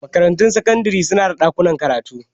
Makarantun sakandare su na da ɗakunan karatu.